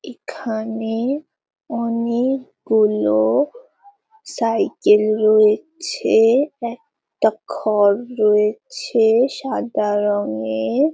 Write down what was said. এখানে অনেক-গুলো সাইকেল রয়েছে একটা ঘর রয়েছে সাদা রংয়ের।